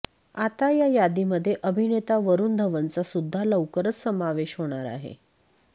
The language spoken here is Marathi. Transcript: आता या यादीमध्ये अभिनेता वरूण धवनचा सुद्धा लवकरच समावेश होणार आहे